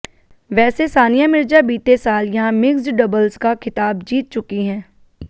वैसे सानिया मिर्जा बीते साल यहां मिक्स्ड डबल्स का खिताब जीत चुकी हैं